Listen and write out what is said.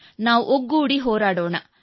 ನಾವು ಒಗ್ಗೂಡಿ ಹೋರಾಡೋಣ